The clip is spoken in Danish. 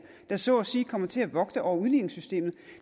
der så at sige kom til at vogte over udligningssystemet